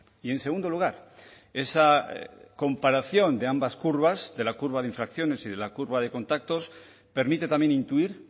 y en segundo lugar esa comparación de ambas curvas de la curva de infracciones y de la curva de contactos permite también intuir